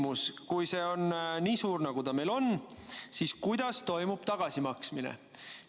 Kui see on nii suur, nagu ta meil on, siis kuidas toimub tagasimaksmine?